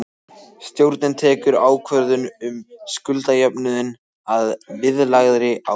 Stjórnin tekur ákvörðun um skuldajöfnuðinn að viðlagðri ábyrgð.